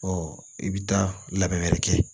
i bɛ taa labɛn wɛrɛ kɛ